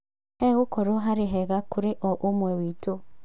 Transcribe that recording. Hegũkorwo harĩ hega kũrĩ o ũmwe witũ.